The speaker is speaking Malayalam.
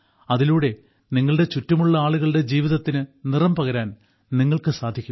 അതിലൂടെ നിങ്ങളുടെ ചുറ്റുമുള്ള ആളുകളുടെ ജീവിതത്തിൽ നിറം പകരാൻ നിങ്ങൾക്ക് സാധിക്കും